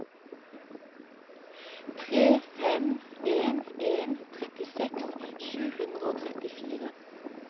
tre fem en en trettiseks sju hundre og trettifire